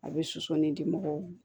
A bɛ sosɔn de di mɔgɔw ma